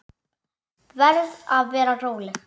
Verð að vera róleg.